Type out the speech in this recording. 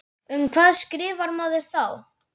Um hvað skrifar maður þá?